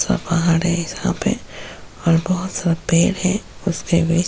ऊँचा पहाड़ है यहाँ पे और बहुत सारा पेड़ है उसके बिच --